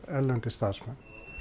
erlendir starfsmenn